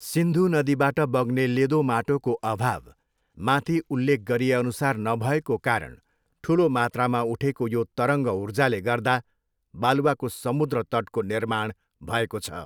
सिन्धु नदीबाट बग्ने लेदो माटोको अभाव, माथि उल्लेख गरिएअनुसार, नभएको कारण ठुलो मात्रामा उठेको यो तरङ्ग ऊर्जाले गर्दा बालुवाको समुद्र तटको निर्माण भएको छ।